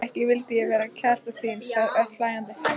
Ekki vildi ég vera kærastan þín sagði Örn hlæjandi.